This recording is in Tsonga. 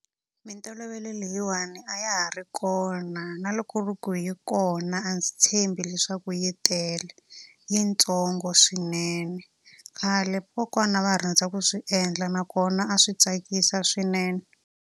Mintolovelo leyiwani a ya ha ri kona, na loko ri ku hi kona a ndzi tshembi leswaku yi tele. I yi ntsongo swinene. Khale kokwana va rhandza ku swi endla nakona a swi tsakisa swinene.